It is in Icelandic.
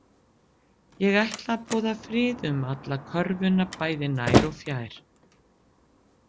Ég ætla að boða frið um alla körfuna bæði nær og fjær